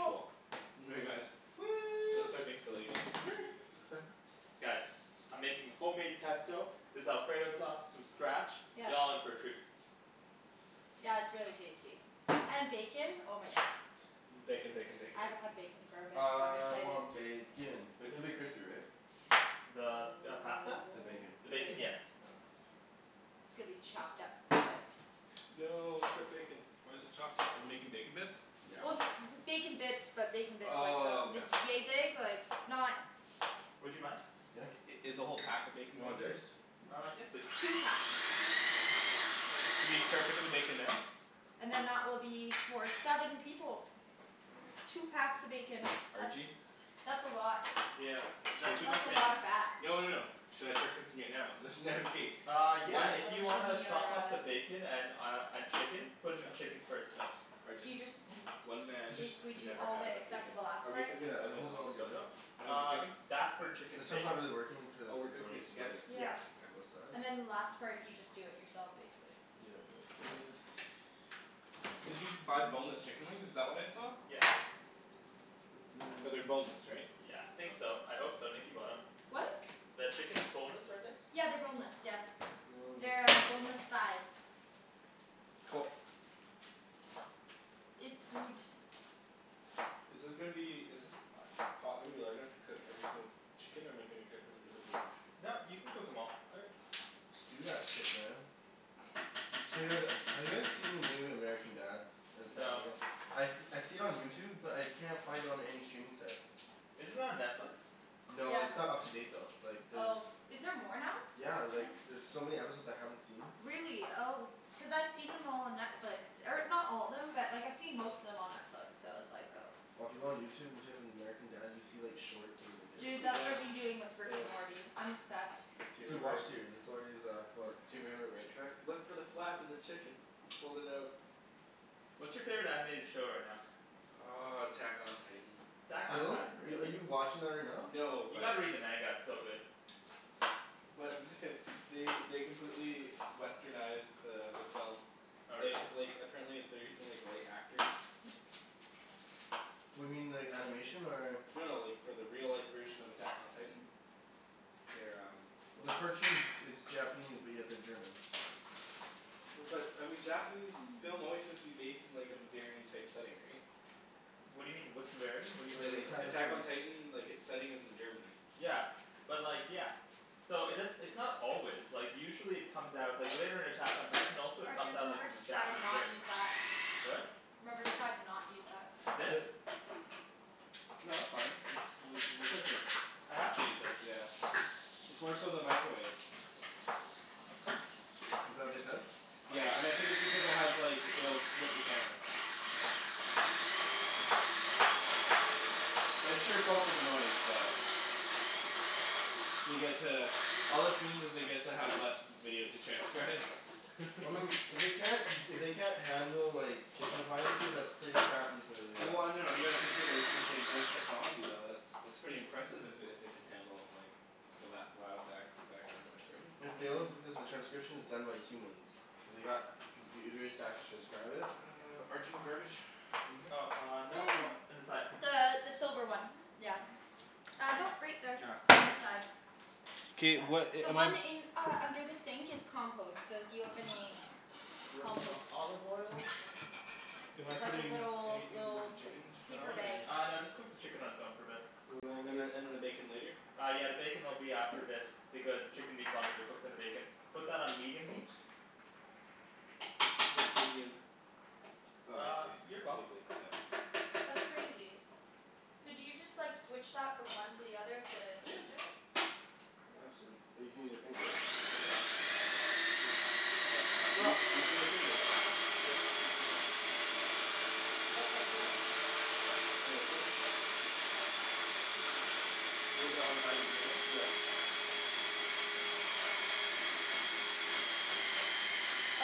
Cool. guys. Gonna Woo! start being silly again. Guys, I'm making homemade pesto, this alfredo sauce from scratch, Yep. y'all in for a treat. Yeah it's really tasty. And bacon? Oh my God. Bacon, bacon, bacon, I haven't bacon. had bacon for a bit so I'm really I excited. want bacon! But it's gonna be crispy, right? The Oh, pasta? The bacon. The the bacon? bacon. Yes. Okay. It's gonna be chopped up into it. No, strip bacon. Why's it chopped up? Are we making bacon bits? Yeah. Well bacon bits, but bacon bits like, Oh about, okay. yea big? Like not Would you mind? Yeah. I- is the whole pack of bacon You want going in there? diced? Uh, yes please. Two packs. Should we start cooking the bacon now? And then that will be for seven people. Two packs of bacon. That's, Arjie? that's a lot. Yeah. Is that too That's much a lot bacon? of fat. No no no. Should I start cooking it now? There's Uh yeah, Oh if you that's wanna from your, chop up uh. the bacon and uh and chicken? Put in the chicken first though. So Arjan, you just, one man You just basically can do never all have the, enough except for bacon. the last Are we part? cooking the Yeah and it oven holds it all on the stove together. top? Or the Uh, chicken? that's for chicken This and one's not bacon. really working Oh, cuz we're it's cooking already it together. sliced d- Yeah. Yeah. on K. both sides. And then the last part you just do it yourself basically. Yeah like this. Did you buy boneless chicken wings? Is This that what I saw? Yeah. Like this But they're boneless, right? Yeah. Think so. I hope so, Nikki bought em. What? The chicken is boneless, right Nikks? Yeah they're boneless, yeah. Now we just They're go like. boneless thighs. Cool. It's good. Is this gonna be, is this pot gonna be large enough to cook every single chicken or am I gonna cook them individually? No, you can cook em all. Okay. Just do that shit man. So you guys, have you guys seen the new American Dad and No. Family Guy? I I see it on YouTube but I can't find it on any streaming site. Is it on Netflix? No, Yeah. it's not up to date though. Like there's... Oh. Is there more now? Yeah like there's so many episodes I haven't seen. Really? Oh. Cuz I've seen them all on Netflix. Or not all of them, but like I've seen most of them on Netflix, so I was like oh. Well if you go on YouTube and type in American Dad you see like shorts of the videos. Dude, Dude, that's I what know. I've been doing with Rick Damn. and Morty. I'm obsessed. Do you Dude, remember WatchSeries. That's already is, go ahead Do you remember Red Truck? Look for the flap in the chicken! Fold it out. What's your favorite animated show right now? Uh, Attack on Titan. Attack on Are Titan? are Really? you watching that right now? No, You but gotta read the manga. It's so good. but they they completely westernized the the film. Oh really? They like, apparently they're using like white actors. What do you mean, the animation or? No, like, for the real life version of Attack on Titan. They're um Well the cartoon it's Japanese but yeah they're German. But I mean Japanese film always seems to be based in like a Bavarian type setting, right? What do you mean? What's Bavarian? What do Like The like Attack on Attack on you Titan. Titan, like its setting is in Germany. Yeah. But like, yeah. So it does - it's not always, like usually it comes out, like later in Attack on Titan also it comes Arjan, out like remember as to a try to Japanese not race. use that. What? Remember to try to not use that. This? No that's fine, it's like, we're cooking. I have to use this. Yeah. It's more so the microwave. Is that what they said? Yeah. And I think it's because it has like, you know, it'll strip the camera. I'm sure it's also the noise, but They get to, all this means is they get to have less video to transcribe. Well I mean, if they can't if they can't handle like kitchen appliances, that's pretty crappy for the uh Well no, you gotta consider too it's like voice technology, though, it's, that's pretty impressive if it if it can handle like the lou- loud back background noise, right? It fails because the transcription is done by humans. They got computers to actually transcribe it? Arjan, garbage? Oh uh, no no, Mm. on the side. The the silver one. Yeah. Uh no right there. Ah. On the side. K, Yeah. what a- The am I one in, uh under the sink is compost. So if you have any Little bit more compost, olive oil. just saying. Am I It's like a putting little, anything with the little chicken to turn paper on, bag. or? Uh no just cook the chicken on its own for a bit. And then and then the bacon later? Uh yeah the bacon will be after a bit because the chicken needs longer to cook than the bacon. Put that on medium heat? What's medium? Oh I Uh, see. your call. Wait wait, seven. That's crazy. So do you just like switch that from one to the other to Yeah. change it? Nuts. But you can use your finger right? Yep. Hmm. You Sup? you can use that too though. That's so cool. Was that on high to begin with? Yeah.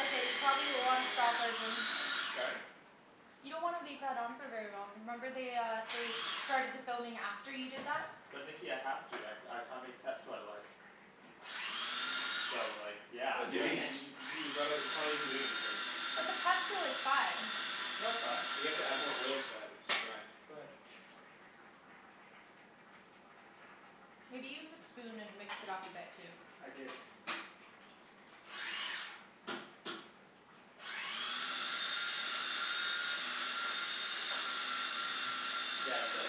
Okay you probably wanna stop Arjan. Sorry? You don't wanna leave that on for very long. Remember they uh they started the filming after you did that? But Nikki I have to, I I can't make pesto otherwise. So like yeah, But I'm you doing haven't y- it. y- you gotta, it probably isn't doing anything. But the pesto is fine. No it's not. You have to add more oil to that. It's too dry. Go ahead. Maybe use the spoon and mix it up a bit too. I did. Yeah it's better.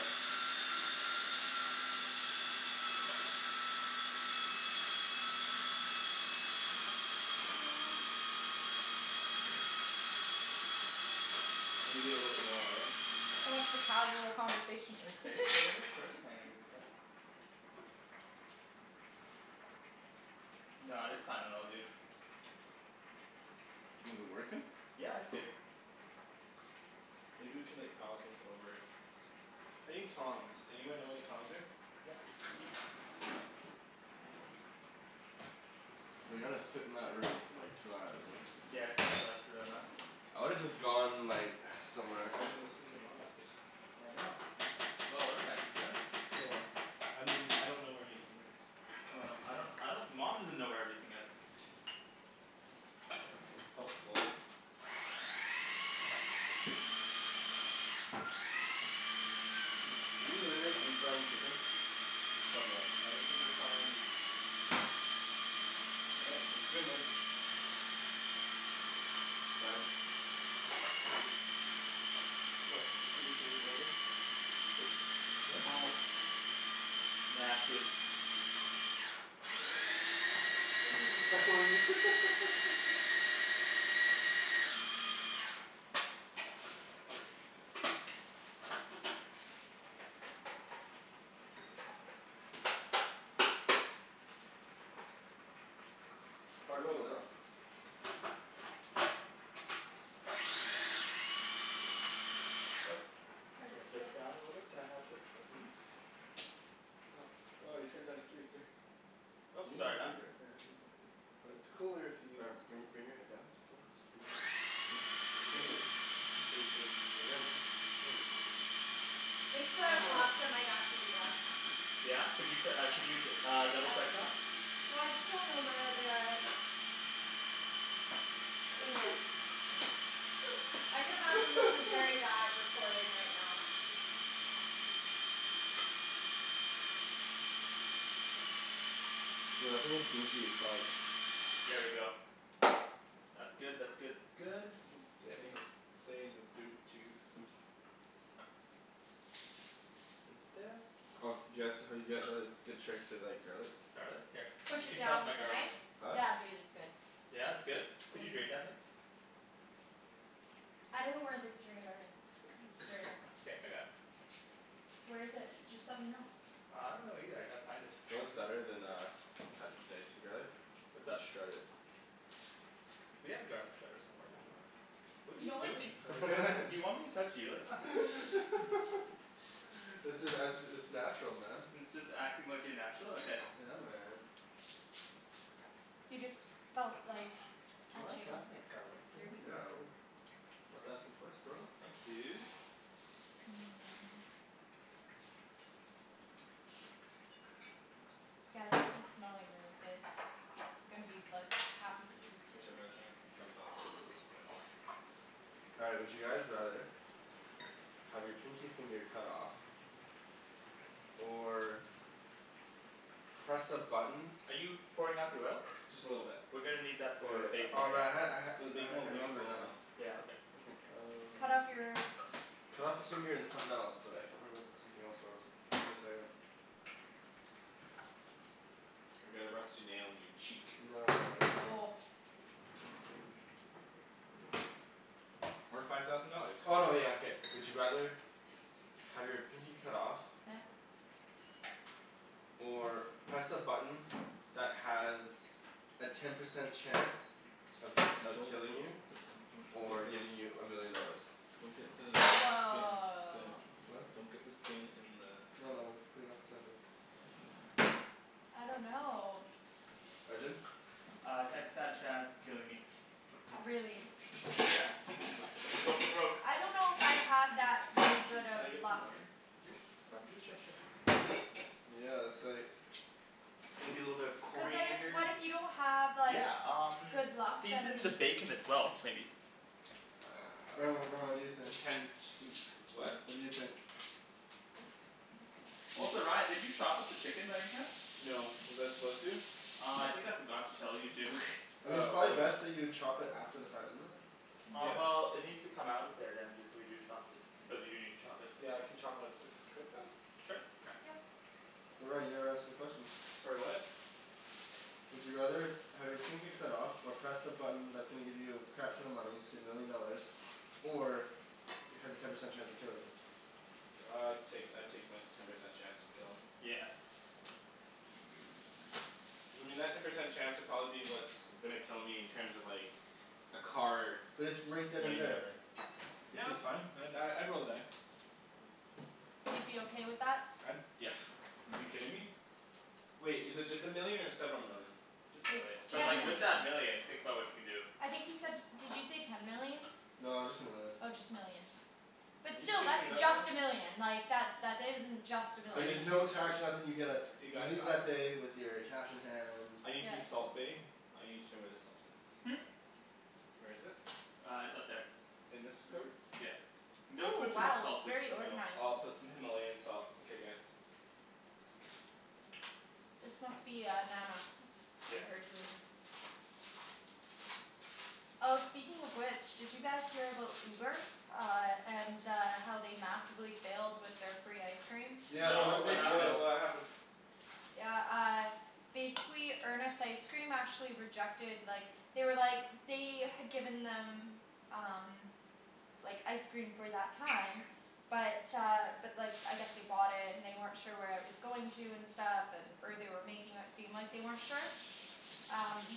Mm. Maybe a little bit lower, eh? So much for casual conversation. Let me taste it a little bit first? Hold on, give me a sec. No, it's fine. It all good. Is it working? Yeah it's good. Maybe we can like pile things over it. I need tongs. Anyone know where the tongs are? Yeah. So they gotta sit in that room for like two hours right? Yeah it kind of sucks for them, huh? I would have just gone like, somewhere. Arjan, this is your Mama's kitchen. I know. Well organized, isn't it? Well, I mean, I don't know where anything is. Oh no. I don't, I don't. Mom doesn't know where everything is. Helpful. Are you literally deep frying chicken? Somewhat. I just have to try and... Looking good. Sorry? What? Nasty. Try putting the lid on. Oh. Here, Turn this here. down a little bit, can I have this lid? Well you turned it down to three sir. You Oop, can use sorry your man. finger. Yeah I can use my finger. But it's cooler if you use Ryan this bring thing... bring your head down. Just bring it in. Here. Ryan just, come on. I think the pasta might actually be done. Yeah? Could you uh could you uh double I, check that? well I just don't know where the... I could imagine this is very bad recording right now. Dude I think it's goopy as fuck. There we go. That's good, that's good, that's good. Daniel's playing the boot toot. Take this. Oh do you guys, have you guys heard the trick to like garlic? Garlic? Here. Push You it can chop down my with a garlic. knife? Huh? Yeah dude it's good. Yeah it's good? Can you drain that Nikks? I don't know where the drainer is. The strainer. Okay. I got it. Where is it? Just let me know. Uh, I don't know either. I gotta find it. You know what's better than uh cutting dicing garlic? What's up? Just shred it. We have a garlic shredder somewhere, don't we? What are You you know what doing? Do you want me to touch you like that? This is, I'm it's natural man. It's just acting like you're natural? Okay. Yeah man. You just felt like Do you wanna touching cut up that garlic for your me? boob. Yeah I will. Don't have to ask me twice bro. Thanks dude. Hmm. Guys this is smelling really good. Gonna be like, happy to Hmm. eat. Whichever is fine. It's uncomfortable as it looks. All right, would you guys rather Have your pinky finger cut off? Or. Press a button Are you pouring out the oil? Just a little bit. We're gonna need that Wait for wait. bacon Oh later. man I had For the it. bacon I we'll can't make it remember it now. Yeah, okay. Um. Cut off your? Cut off your finger and something else. But I can't remember what the something else was. Give me a second. Or get a rusty nail in your cheek. No no no, it's uh. Oh. Or five thousand dollars. Oh no yeah okay. Would you rather Have your pinky cut off? Yeah. Or press a button that has a ten percent chance of of Don't. killing you? Or giving you a million dollars. Don't get the skin... Woah. Huh? Don't get the skin in the... No no. I'm putting it off to the side here. I don't know. Arjan? Uh, ten percent chance of killing me. Really? Yeah. Go for broke. I don't know if I have that really Can good can of I get some luck. lemon juice? Lemon juice? Sure sure. Yeah that's like. Maybe a little bit of Cuz then if coriander? what if you don't have like Yeah um good luck then season the bacon as well maybe. Ryan what, what do you Um think? potential what? What do you think? Also Ryan did you chop up the chicken by any chance? No, was I supposed to? Uh I think I forgot to tell you to. I mean it's Oh probably okay. best that you chop it after the fact, isn't it? Uh Yeah. well it needs Mm. to come out of there then if we do chop it. Because we do need to chop it. Yeah I can chopped once it's cooked though? Sure. Okay. Yep. Ryan you never answered the question. Sorry what? Would you rather have your pinky cut off, or press a button that's gonna give you a crap ton of money, say a million dollars, or has a ten percent chance of killing you? Uh I'd take I'd take my ten percent chance of killing. Yeah. I mean that ten percent chance would probably be what's gonna kill me in terms of like, a car But it's right then and running me there. over. It Yeah could that's fine, I'd die, I'd roll the die. You'd be okay with that? I'd, yeah. You kidding me? Wait, is it just a million or several million? Just a It's million. But Just ten a like with million. that million, think about what you can do. I think he said, did you say ten million? No, just a million. Oh just a million. But You still, can that's just a million. Like that isn't just a I But need there's million. no to tax or nothing, you get a, You you guys? leave that day with your cash in hand I need to be Yeah. salt bae; I need to know where the salt is. Hmm? Where is it? Uh it's up there. In this cupboard? Yeah. Don't Ooh put too much wow salt it's please. very No. organized. I'll put some Himalayan salt, okay guys. This must be uh Nana. And Yeah. her doing. Oh speaking of which, did you guys hear about Uber? Uh and uh how they massively failed with their free ice cream? Yeah but how No, No, did what they happened? fail? what happened? Yeah uh, basically Earnest Ice Cream actually rejected, like, they were like, they had given them, um. Like ice cream for that time, but uh but like I guess they bought it and they weren't sure where it was going to and stuff, and or they were making it seem like they weren't sure. Um.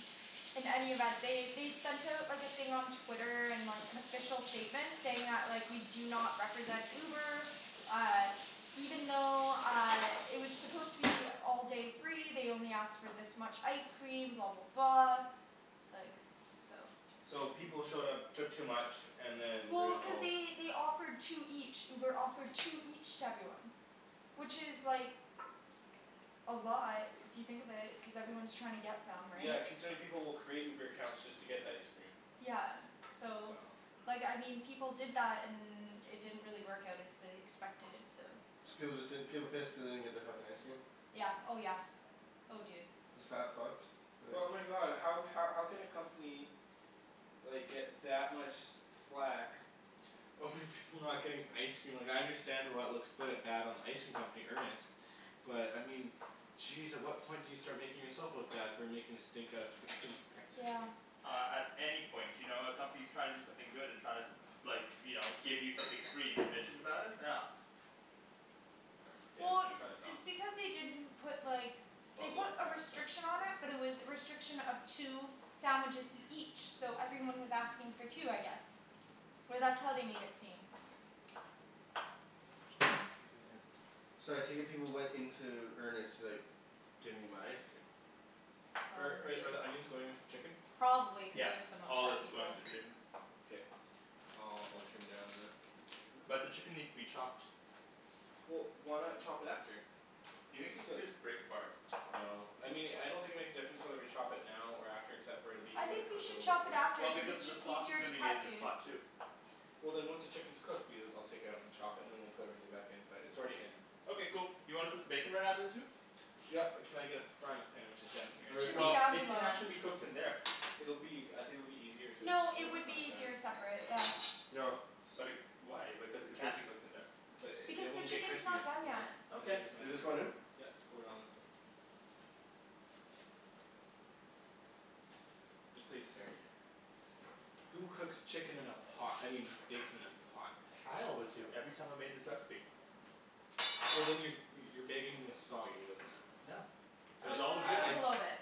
In any event, they they sent out like a thing on Twitter, and like an official statement saying that like, we do not represent Uber, uh, even though uh it was supposed to be all day free, they only asked for this much ice cream, blah blah blah Like, so. So people showed up, took too much, and then Well, ruined the cuz whole... they they offered two each. Uber offered two each to everyone. Which is like. A lot if you think of it, cuz everyone's trying to get them, Yeah right? considering people will create Uber accounts just to get the ice cream. Yeah so, So. like I mean people did that and it didn't really work out as they expected, so. So was it that, people pissed cuz they didn't get their fucking ice cream? Yeah. Oh yeah. Oh dude. Isn't that fucked? Like But my god, how how can a company like get that much flak over people not getting ice cream? Like I understand why it looks quite bad on the ice cream company, Earnest, but I mean jeez at what point do you start making yourself look bad for making a stink out of fucking ice cream? Yeah. Uh at any point. You know, a company's trying to do something good and trying to like, you know, give you something free and you're bitching about it? No. Yeah, Well it's it's kind of dumb. it's because they didn't put like, they Buttload put of a pasta. restriction on it Mhm. but it was a restriction of two sandwiches each, so everyone was asking for two I guess. Or that's how they made it seem. So I take it people went into Earnest like, give me my ice cream. Oh I'm Are with are the you. onions going with the chicken? Probably cuz Yeah. there was some All of this upset is going people. to the chicken. Okay. I'll I'll turn down the the chicken there. But the chicken needs to be chopped. Well why not chop it after? Do you think we could just break apart? No. I mean I don't think it makes a difference whether we chop it now or after except for it'll be, it I would have think we cooked a should little bit chop it after Well quicker. cuz because it's the just sauce is easier to gonna be made in cut, this dude. pot too. Well then once the chicken's cooked, we'll, I'll take it out and chop it and then we'll put everything back in. But it's already in. Okay cool. You wanna cook the bacon right now then too? Yep, can I get a frying pan which is down here? Should be Well down it can below. actually be cooked in there. It'll be, I think it'll be easier to just No, cook it it in the would frying be pan? easier separate. Yeah. Yo. But it, why, because it can be cooked in there. But Because it the won't get chicken's crispy. not done yet. Yep You Okay. want just this one in? pour it all in. And please stir. Who cooks chicken in a pot? I mean bacon in a pot? I always do. Every time I made this recipe. Well then your your bacon was soggy, wasn't it. No. It was I, always Uh it good. I was I. a little bit.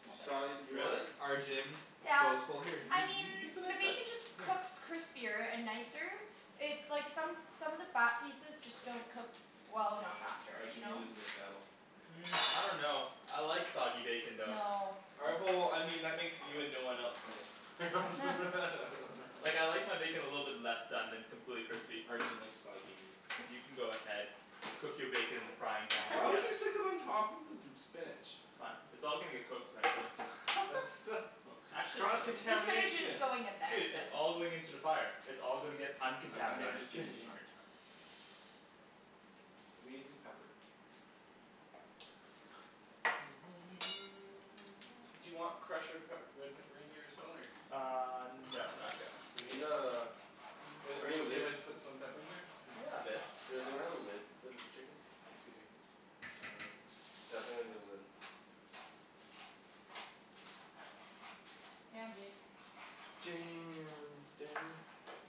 You, A little sorry, bit. you what? Really? Arjan. Yeah. here. You I mean you you can the make that, bacon just here. cooks crispier and nicer, it's like, some some of the fat pieces just don't cook well enough Yeah. after. You Arjan, you're know? losing this battle. Hmm. I dunno. I like soggy bacon though. No. All right, well, I mean that makes you and no one else in this. Huh. Like I like my bacon a little bit less done than completely crispy. Arjan likes soggy meat. You can go ahead, cook your bacon in the frying pan I Why would guess. you stick it on top of the spinach? That's fine. It's all gonna get cooked eventually. But still. Actually no. Cross The spinach is contamination? going in there, Dude, so. it's all going into the fire. It's all gonna get I'm I'm uncontaminated. just giving you a hard time. Let me get some pepper. Do you want crushed red pep red pepper in there as well or? Uh no No? No. not yet. We need uh Are We need a you okay lid. if I put some pepper in there? Yeah a bit. Is there we have a lid for this chicken? Excuse me. Um. Definitely need a lid. Damn dude. Damn Daniel.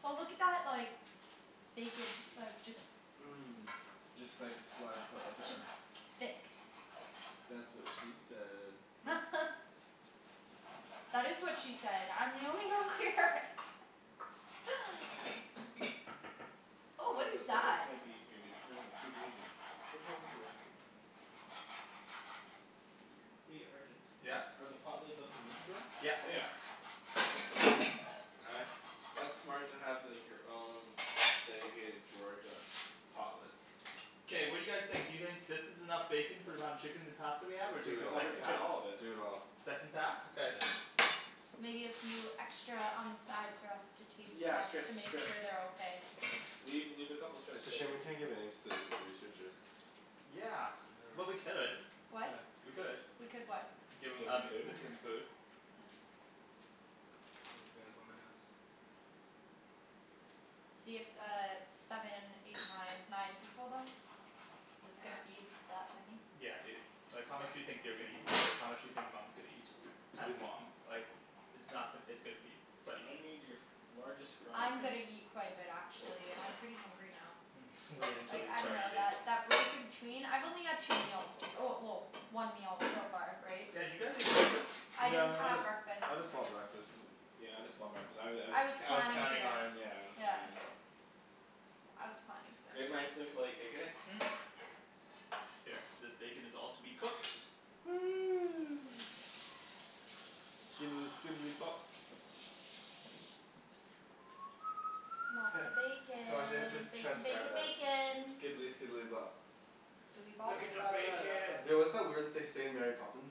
Oh look at that like, bacon, like, just Mm. Just like a slide of Just thick. That's what she said. That is what she said! I'm the only girl here! Oh what is this that? might be in here dude. No no dude, what are you doing. There's no lids in there. Hey Arjan? Yeah? Are the pot lids up in this drawer? Yeah. They are. Uh, that's smart to like have your own dedicated drawer to pot lids. K, what do you guys think, do you think this is enough bacon for the amount of chicken and pasta we have or Do take I it the all. thought we're second cooking pack? all of it. Do it all. Second pack? Okay. Yeah. Maybe a few extra on the side for us to taste Yeah just to strips, make strips. sure they're okay. Leave, leave a couple strips It's of a shame bacon. we can't give any to the researchers. Yeah. Well we could. What? We could. We could what? Give Give them them um, the food? team the food. Yeah. in the house. See it's uh seven, eight, nine nine people then? This gonna feed that many? Yeah dude. Like how much do you think they're gonna eat, how much do you think Mom's gonna eat? And mom. Like, it's not, it's gonna feed thirty I people. need your largest frying I'm pan. gonna eat quite a bit actually, I'm pretty hungry now. Mhm. Wait until Like you I start dunno eating. that break in between, I've only had two meals, well well one meal so far, right? Yeah did you guys eat breakfast? I didn't Yeah I had have breakfast. I had a small breakfast. Yeah I had a small breakfast. I was I was I was I was planning for counting this. on, yeah I was Yeah. counting on... I was planning for Great this. minds think alike, eh guys? Hmm? Here. This bacon is all to be cooked. Skidely skidely bop. Heh. Lots of I wonder if they have to bacon. Bacon transcribe bacon that. bacon. Skidely skidely bop. Look at the bacon! Yo what's that word that they say in Mary Poppins?